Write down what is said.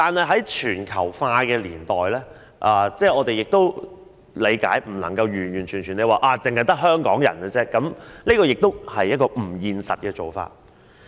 在全球化的年代，我們亦理解不能強求人口中完全只得香港人，這亦是不現實的做法。